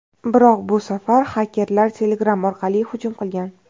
Biroq bu safar xakerlar Telegram orqali hujum qilgan.